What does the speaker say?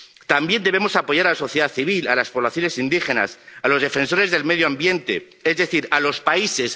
También debemos apoyar a la sociedad civil, a las poblaciones indígenas, a los defensores del medio ambiente, es decir, a los países.